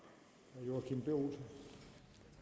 det